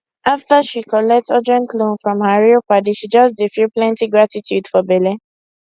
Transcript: after she collect urgent loan from her real padi she just dey feel plenty gratitude for belle